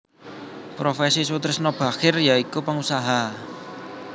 Profesi Soetrisno Bachir ya iku pengusaha